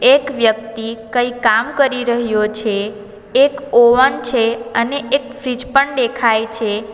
એક વ્યક્તિ કંઈ કામ કરી રહ્યો છે એક ઓવન છે અને એક ફ્રીજ પણ દેખાય છે.